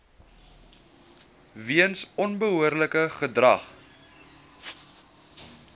weens onbehoorlike gedrag